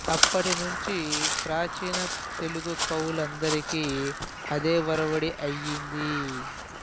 అప్పటినుంచి ప్రాచీన తెలుగు కవులు అందరికీ అదే ఒరవడి అయ్యింది